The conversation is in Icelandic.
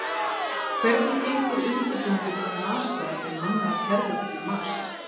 Hvernig gengur undirbúningur hjá NASA um mannaðar ferðir til Mars?